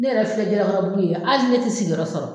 Ne yɛrɛ filɛ jalakɔrɔbugu yen ye ali ne te sigiyɔrɔ sɔrɔ